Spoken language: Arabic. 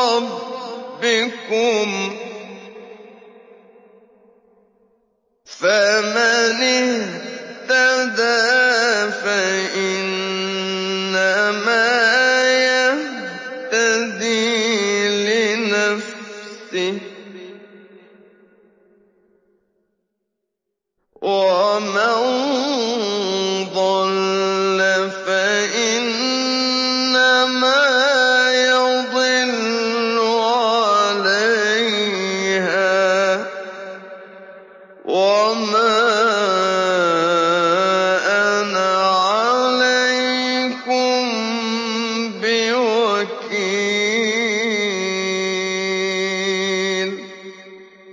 رَّبِّكُمْ ۖ فَمَنِ اهْتَدَىٰ فَإِنَّمَا يَهْتَدِي لِنَفْسِهِ ۖ وَمَن ضَلَّ فَإِنَّمَا يَضِلُّ عَلَيْهَا ۖ وَمَا أَنَا عَلَيْكُم بِوَكِيلٍ